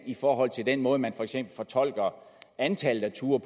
i forhold til den måde man for eksempel fortolker antallet af ture